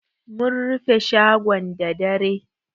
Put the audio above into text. Mun rufe shagon da dare.